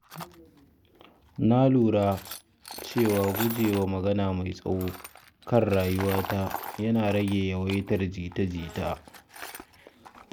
Na lura cewa guje wa magana mai tsawo kan rayuwata yana rage yawaitar jita-jita.